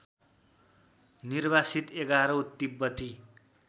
निर्वासित एघारौँ तिब्बती